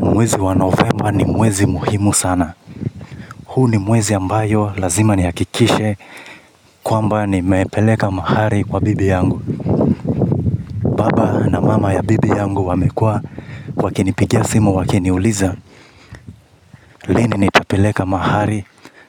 Mwezi wa novemba ni mwezi muhimu sana. Huu ni mwezi ambayo lazima nihakikishe kwamba nimepeleka mahari kwa bibi yangu. Baba na mama ya bibi yangu wamekuwa wakinipigia simu wakiniuliza. Lini nitapeleka mahari